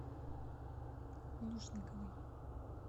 лушниковой